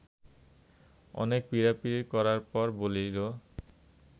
অনেক পীড়াপীড়ি করার পর বলিল